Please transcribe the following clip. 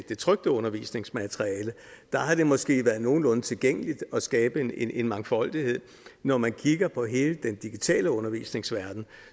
trykte undervisningsmateriale er at det måske har været nogenlunde tilgængeligt at skabe en en mangfoldighed når man kigger på hele den digitale undervisningsverden